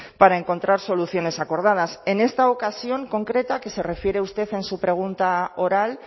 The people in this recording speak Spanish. para encontrar soluciones acordadas en esta ocasión concreta que se refiere usted en su pregunta oral